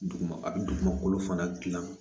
Duguma a bi dugumakolo fana gilan